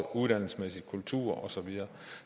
uddannelse kultur og så videre